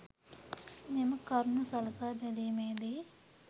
මෙම කරුණු සලකා බැලීමේ දී